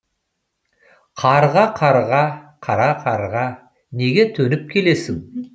қарға қарға қара қарға неге төніп келесің